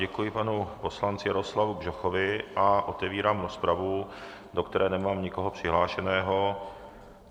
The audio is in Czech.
Děkuji panu poslanci Jaroslavu Bžochovi a otevírám rozpravu, do které nemám nikoho přihlášeného.